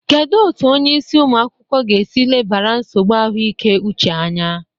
Kedu otu onye isi ụmụ akwụkwọ ga-esi lebara nsogbu ahụike uche anya?